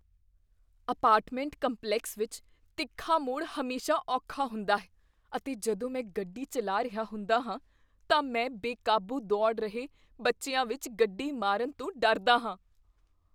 Apartment complex ਵਿੱਚ ਤਿੱਖਾ ਮੋੜ ਹਮੇਸ਼ਾ ਔਖਾ ਹੁੰਦਾ ਹੈ ਅਤੇ ਜਦੋਂ ਮੈਂ ਗੱਡੀ ਚੱਲਾ ਰਿਹਾ ਹੁੰਦਾ ਹਾਂ ਤਾਂ ਮੈਂ ਬੇਕਾਬੂ ਦੌੜ ਰਹੇ ਬੱਚਿਆਂ ਵਿੱਚ ਗੱਡੀ ਮਾਰਨ ਤੋਂ ਡਰਦਾ ਹਾਂ।